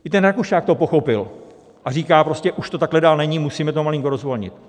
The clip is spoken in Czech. I ten Rakušan to pochopil a říká prostě: už to takhle dál není , musíme to malinko rozvolnit.